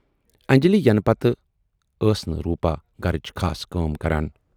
انجلی یِنہٕ پتہٕ ٲس نہٕ روٗپا گرٕچ خاص کانہہ کٲم کران۔